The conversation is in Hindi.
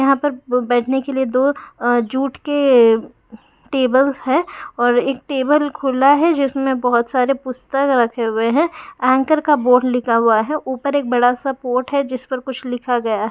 यहाँ प-पर बैठने के लिए दो जुट के टेबल है और एक टेबल खुला है जिसमे बहुत सारे पुस्तक रखे हुए है एंकर का बोर्ड लिखा हुआ है ऊपर एक बड़ा सा पोट जिस पर कुछ लिखा हुआ गया।